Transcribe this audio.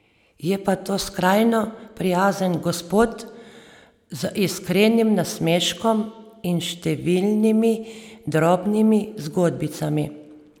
Je pa to skrajno prijazen gospod, z iskrenim nasmeškom in številnimi drobnimi zgodbicami.